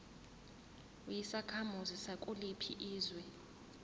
uyisakhamuzi sakuliphi izwe